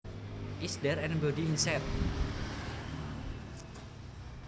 Is there anybody inside